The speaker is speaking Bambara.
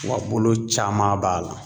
Wa bolo caman b'a la.